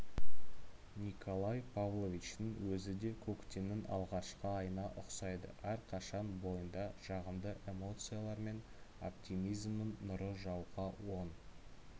николай павловичтің өзіде көктемнің алғашқы айына ұқсайды әрқашан бойында жағымды эмоциялар мен оптимизмнің нұры жауған оң